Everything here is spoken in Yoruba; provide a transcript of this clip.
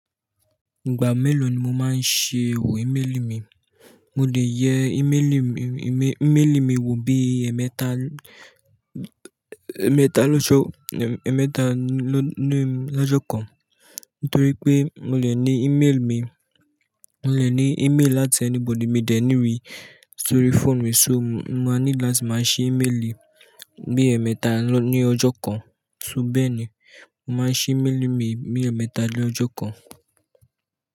Ìgbà mélòó ni mo máa ń ṣe wò ímélì mi? Mo lè yẹ ímélì mi, ímélì mi wò bí i ẹ̀ẹ̀mẹ́ta, ẹ̀ẹ̀mẹ́ta lọ́jọ́, ẹ̀ẹ̀mẹ́ta ló ní lọ́jọ́ kan. Nítorí pé mo lè ní e-mail mi, mo lè ní e-mail láti anybody. Mi ò dẹ̀ ní rí i sórí phone mi, só ma need láti máa ṣe ímélì bí i ẹ̀ẹ̀mẹ́ta ní ọjọ́ kan. Só bẹ́ẹ̀ ni, mo máa ń ṣe ímélì mi bí i ẹ̀ẹ̀mẹ́ta lọ́jọ́ kan.